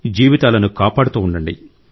జీవితాలను కాపాడుతూ ఉండండి